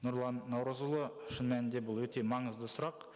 нұрлан наурызұлы шын мәнінде бұл өте маңызды сұрақ